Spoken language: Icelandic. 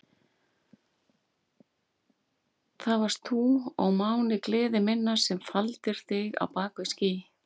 Það varst þú, ó máni gleði minnar, sem faldir þig á bak við ský.